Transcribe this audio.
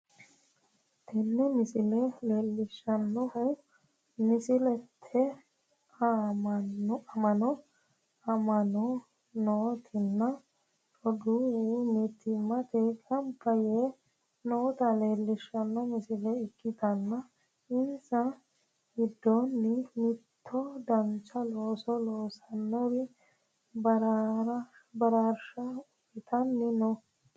Tini misile leellishshannohu musiliimete amma'no amma'nitino roduuwi mittimmatenni gamba yite noota leellishshanno misile ikkitanna, insa giddoonnino mitto dancha looso loosinohura baraarsha uytanni no.